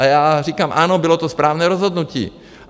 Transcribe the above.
A já říkám: Ano, bylo to správné rozhodnutí.